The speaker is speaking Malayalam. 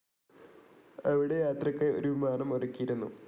അവിടെ യാത്രക്കായി ഒരു വിമാനം ഒരുക്കിയിരുന്നു.